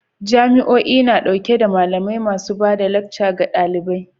Jami'o'i na dauke da malamai masu ba da lacca ga dalibai